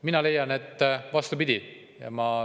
Mina leian, et vastupidi.